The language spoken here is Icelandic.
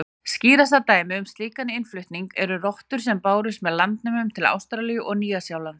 Skýrasta dæmið um slíkan innflutning eru rottur sem bárust með landnemum til Ástralíu og Nýja-Sjálands.